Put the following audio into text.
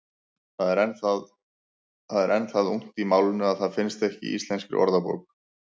Það er enn það ungt í málinu að það finnst ekki í Íslenskri orðabók.